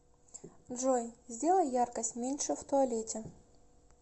джой сделай яркость меньше в туалете